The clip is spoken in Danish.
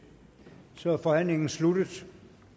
så er forhandlingen sluttet